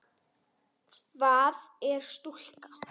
Hvað er stúka?